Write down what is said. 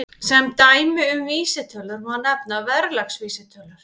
Sem dæmi um vísitölur má nefna verðlagsvísitölur.